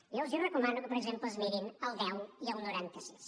jo els recomano que per exemple es mirin el deu i el noranta sis